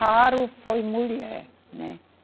Raro foi mulher, né?